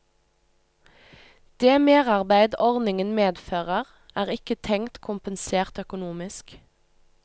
Det merarbeid ordningen medfører, er ikke tenkt kompensert økonomisk.